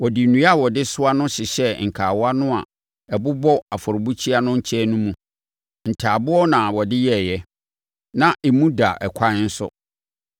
Wɔde nnua a wɔde soa no hyehyɛɛ nkawa no a ɛbobɔ afɔrebukyia no nkyɛn no mu. Ntaaboɔ na wɔde yɛeɛ. Na emu da ɛkwan nso.